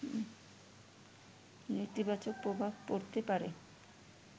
নেতিবাচক প্রভাব পড়তে পারে